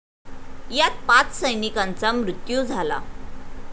यात पाच सैनिकांचा मृत्यू झाला.